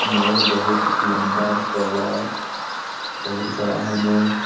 Mall बहुत लम्बा-चौड़ा बहुत बड़ा है मॉल ।